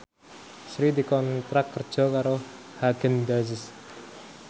Sri dikontrak kerja karo Haagen Daazs